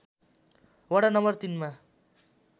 वडा नम्बर ३ मा